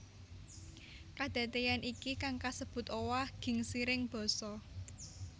Kadadéyan iki kang kasebut owah gingsiring basa